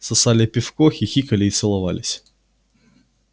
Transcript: сосали пивко хихикали и целовались